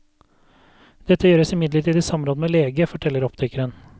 Dette gjøres imidlertid i samråd med lege, forteller optikeren.